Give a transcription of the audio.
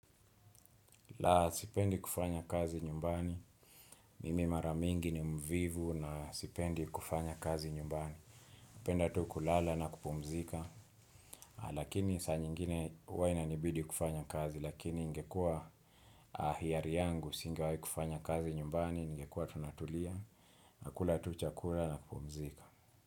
La sipendi kufanya kazi nyumbani, mimi mara mingi ni mvivu na sipendi kufanya kazi nyumbani. Penda tu kulala na kupumzika, lakini saa nyingine huwa inanibidi kufanya kazi, lakini ingekua hiari yangu, singewai kufanya kazi nyumbani, ningekua tunatulia, na kula tu chakula na kupumzika.